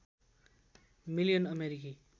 million अमेरिकी